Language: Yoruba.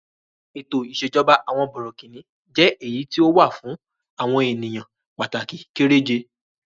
Ètò ìṣèjọba àwọn bọ̀rọ̀kìní jẹ́ èyí tí ó wà fún àwọn ènìyàn pàtàkì kéré je.